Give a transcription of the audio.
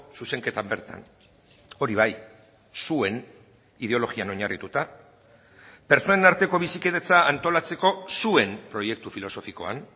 zuzenketan bertan hori bai zuen ideologian oinarrituta pertsonen arteko bizikidetza antolatzeko zuen proiektu filosofikoan